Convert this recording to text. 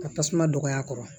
Ka tasuma dɔgɔya kɔrɔ